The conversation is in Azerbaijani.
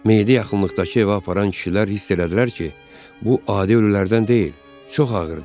Meyidi yaxınlıqdakı evə aparan kişilər hiss elədilər ki, bu adi ölülərdən deyil, çox ağırdır.